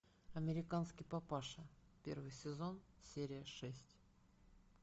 американский папаша первый сезон серия шесть